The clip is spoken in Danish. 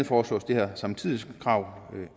foreslås det her samtidighedskrav